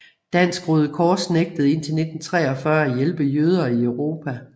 Dansk Røde Kors nægtede indtil 1943 at hjælpe jøder i Europa